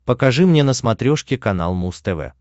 покажи мне на смотрешке канал муз тв